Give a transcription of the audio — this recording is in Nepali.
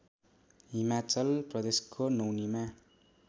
हिमाचल प्रदेशको नौनीमा